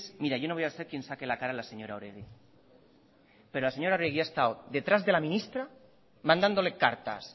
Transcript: mira yo no voy a ser quien saque la cara a la señora oregi pero la señora oregi ha estado detrás de la ministra mandándole cartas